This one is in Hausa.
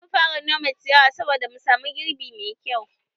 Zamu fara nome ciyawa saboda mu samu girbi mai kyau